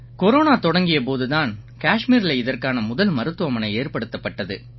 corona தொடங்கிய போது தான் கஷ்மீரில இதற்கான முதல் மருத்துவமனை ஏற்படுத்தப்பட்டது